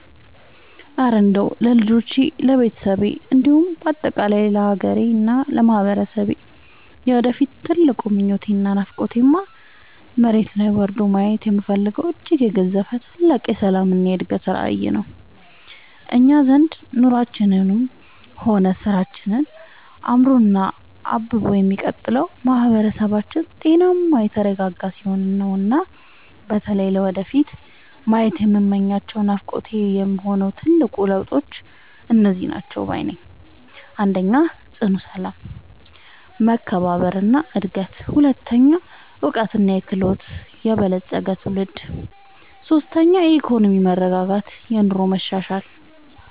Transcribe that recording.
እረ እንደው ለልጆቼ፣ ለቤተሰቤ እንዲሁም በአጠቃላይ ለሀገሬና ለማህበረሰቤ የወደፊት ትልቁ ምኞቴና ናፍቆቴማ፣ መሬት ላይ ወርዶ ማየት የምፈልገው እጅግ የገዘፈ ታላቅ የሰላምና የእድገት ራዕይ ነው! እኛ ዘንድ ኑሯችንም ሆነ ስራችን አምሮና አብቦ የሚቀጥለው ማህበረሰባችን ጤናማና የተረጋጋ ሲሆን ነውና። በተለይ ለወደፊቱ ማየት የምመኛቸውና ናፍቆቴ የሆኑት ትልልቅ ለውጦች እነዚህ ናቸው ባይ ነኝ፦ 1. ጽኑ ሰላም፣ መከባበርና አንድነት 2. በዕውቀትና በክህሎት የበለፀገ ትውልድ 3. የኢኮኖሚ መረጋጋትና የኑሮ መሻሻል